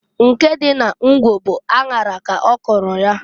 Nke dị na Ngwo bụ aṅara k'ọkọlụ ya.